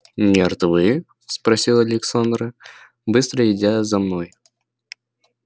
мертвы спросила александра быстро идя за мной